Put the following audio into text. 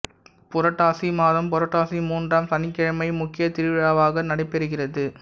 புரட்டாசி மாதம் புரட்டாசி மூன்றாம் சனிக்கிழமை முக்கிய திருவிழாவாக நடைபெறுகிறது